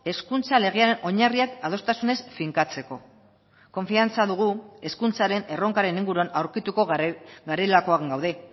hezkuntza legea oinarriak adostasunez finkatzeko konfiantza dugu hezkuntzaren erronkaren inguruan aurkituko garelakoan gaude